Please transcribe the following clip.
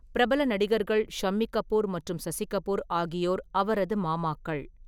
பிரபல நடிகர்கள் ஷம்மி கபூர் மற்றும் சசி கபூர் ஆகியோர் அவரது மாமாக்கள்.